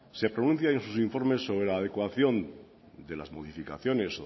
se pronuncia en sus informes sobre la adecuación de las modificaciones